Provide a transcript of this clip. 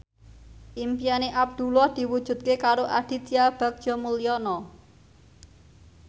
impine Abdullah diwujudke karo Aditya Bagja Mulyana